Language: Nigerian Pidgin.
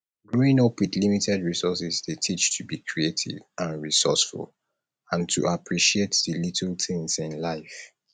growing up with limited resources dey teach to be creative and resourceful and to appreciate di little things in life